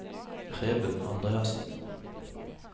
Preben Andreassen